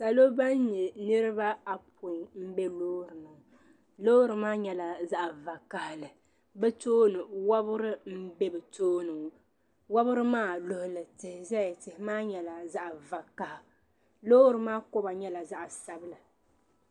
Salɔ ban nyɛ niribi ayopɔin n be lɔɔrinim lɔɔri maa nyɛla zaɣi va kahili. bɛ tooni Santo n be bɛtooni wabiri maa luɣili zuɣu tihi beni tihi maa nyɛla zaɣi vakaha, lɔɔri maa koba nyɛla zaɣi sabila.